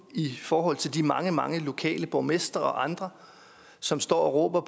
i forhold til de mange mange lokale borgmestre og andre som står og råber